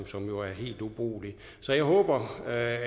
som jo er helt ubrugelig så jeg håber at